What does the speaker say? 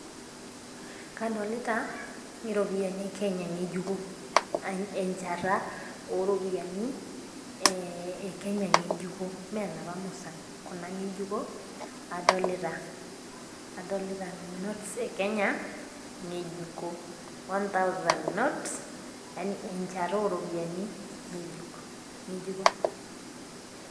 Kadolita, iropiani e Kenya ng'ejuko. Encheta oo iropiani e Kenya ng'ejuko. Mee inoopa musan, kuna ng'ejuko adolita. Adolita notes e Kenya ng'ejuko, one tjausand note yaani encheta oo iropiani ng'ejuko.